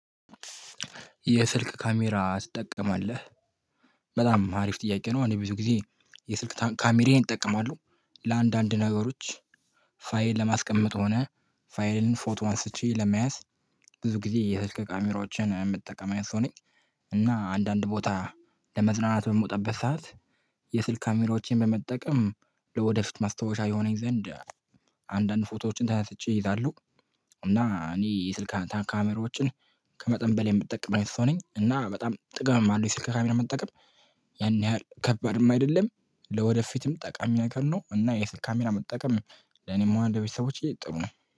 የስልክ ካሜራ ትጠቀማለህ? በጣም አሪፍ ጥያቄ ነው። እኔ ብዙ ጊዜ የስልክ ካሜሬን እጠቀማለሁ ለአንዳንድ ነገሮች ፋይል ለማስቀመጥ ሆነ ፋይልን ፎቶ አንስቼ ለመያዝ ብዙ ጊዜ የህልክ ካሜራዎችን የምጠቀም አይነት ሰው ነኝ። እና አንዳንድ ቦታ ለመዝናናት በምወጣበት ሰዓት የስልክ ካሜሮቼን በመጠቀም ለወደፊት ማስታወሻ የሆነኝ ዘንድ አንዳንድ ፎቶዎችን ተነስቼ እይዛለሁ። እና እኔ የስልክ ካሜሮችን ከመጠን በላይ የምጠቀም አይነት ሰው ነኝ። እና በጣም ጥቅምም አለው የስልክ ካሜራ መጠቀም። ያን ያህል ከባድም አይደለም ለወደፊትም ጠቃሚ ነገር ነው። እና የስልክ ካሜራ መጠቀም ለኔም ሆነ ለቤተሰቦቼ ጥሩ ነው